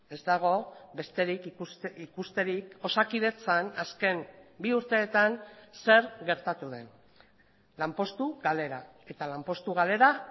ez dago besterik ikusterik osakidetzan azken bi urteetan zer gertatu den lanpostu galera eta lanpostu galera